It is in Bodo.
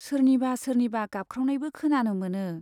सोरनिबा सोरनिबा गाबख्रावनायबो खोनानो मोनो।